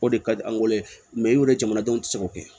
O de ka di an ye jamanadenw tɛ se k'o kɛ